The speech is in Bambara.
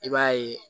I b'a ye